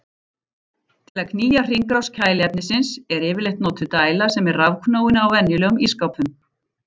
Til að knýja hringrás kæliefnisins er yfirleitt notuð dæla sem er rafknúin á venjulegum ísskápum.